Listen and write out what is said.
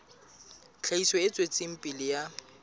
tlhahiso e tswetseng pele ya